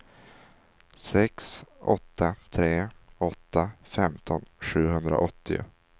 sex åtta tre åtta femton sjuhundraåttio